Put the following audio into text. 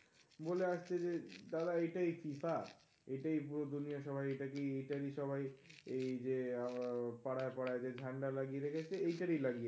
বলে আসছে যে তারা এইটাই FIFA এইটাই পুরো দুনিয়া সবাই এটাকে, এইটাই সবাই এই যে আহ পাড়ায় পাড়ায় যে ঝান্ডা লাগিয়ে রেখেছে. এইটারি লাগিয়ে রেখেছে.